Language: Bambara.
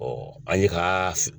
Ɔ an ye k'a